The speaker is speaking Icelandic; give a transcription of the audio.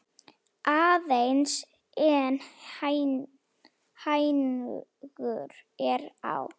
Aðeins einn hængur er á.